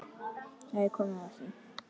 Þá er komið að því!